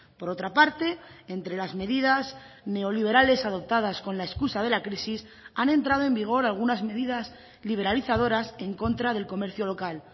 por otra parte entre las medidas neoliberales adoptadas con la excusa de la crisis han entrado en vigor algunas medidas liberalizadoras en contra del comercio local